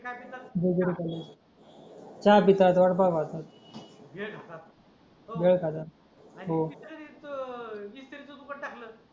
बरोबर आहे चहा पितात वडापाव खातात भेळ खातात